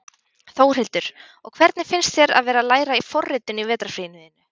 Þórhildur: Og hvernig finnst þér að vera að læra forritun í vetrarfríinu þínu?